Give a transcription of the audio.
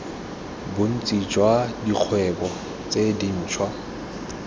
bontsi jwa dikgwebo tse dintshwa